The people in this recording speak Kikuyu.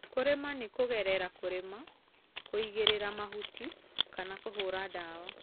kũrĩmĩra nĩ kũgerera kũrĩma, kũĩgĩrĩra mahũtĩ, kana kũhũra dawa